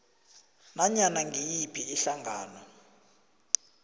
nanyana ngiyiphi ihlangano